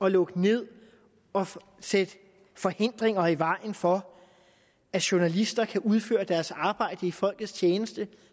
at lukke ned og sætte forhindringer i vejen for at journalister kan udføre deres arbejde i folkets tjeneste